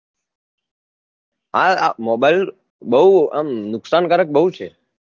હા હા mobile બહુ આમ નુકસાન કારક બહુ છે